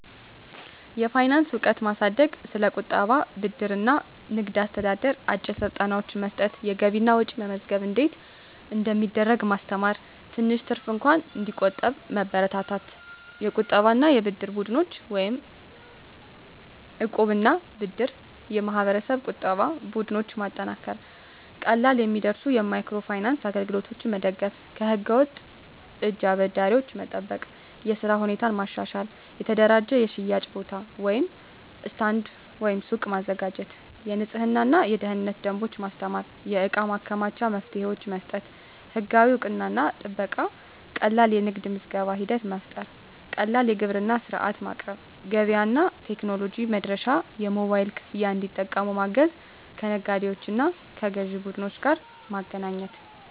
የፋይናንስ እውቀት ማሳደግ ስለ ቁጠባ፣ ብድር እና ንግድ አስተዳደር አጭር ስልጠናዎች መስጠት የገቢና ወጪ መመዝገብ እንዴት እንደሚደረግ ማስተማር ትንሽ ትርፍ እንኳን እንዲቆጠብ መበረታታት የቁጠባና የብድር ቡድኖች (እቃብ/እድር ) የማህበረሰብ ቁጠባ ቡድኖች ማጠናከር ቀላል የሚደርሱ የማይክሮ ፋይናንስ አገልግሎቶች መደገፍ ከህገ-ወጥ እጅ አበዳሪዎች መጠበቅ የሥራ ሁኔታ ማሻሻል የተደራጀ የሽያጭ ቦታ (ስታንድ/ሱቅ) ማዘጋጀት የንፅህናና የደህንነት ደንቦች ማስተማር የእቃ ማከማቻ መፍትሄዎች መስጠት ህጋዊ እውቅናና ጥበቃ ቀላል የንግድ ምዝገባ ሂደት መፍጠር ቀላል የግብር ሥርዓት ማቅረብ ገበያ እና ቴክኖሎጂ መድረሻ የሞባይል ክፍያ እንዲጠቀሙ ማገዝ ከነጋዴዎችና ከግዥ ቡድኖች ጋር ማገናኘት